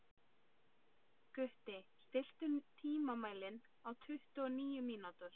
Gutti, stilltu tímamælinn á tuttugu og níu mínútur.